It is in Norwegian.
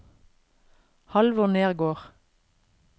Halvor Nergård